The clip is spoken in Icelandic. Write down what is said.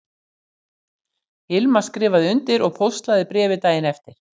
Hilma skrifaði undir og póstlagði bréfið daginn eftir